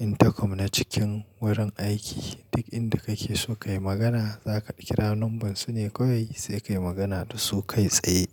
intercom na cikin wurin aiki. Duk inda kake so ka yi magana, za ka kira lambar su ne kawai sai ka yi magana da su kai tsaye.